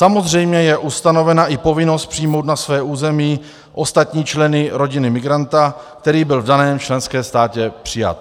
Samozřejmě je ustanovena i povinnost přijmout na své území ostatní členy rodiny migranta, který byl v daném členském státě přijat.